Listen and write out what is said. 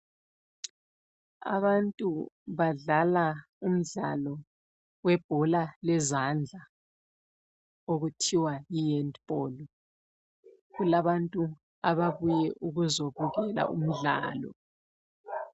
Abantu badlala umdlalo webhola lezandla okuthiwa yihandball. Kulabantu ababuye ukuzobukela umdlalo.